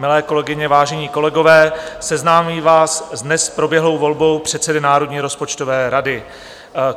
Milé kolegyně, vážení kolegové, seznámím vás s dnes proběhlou volbou předsedy Národní rozpočtové rady.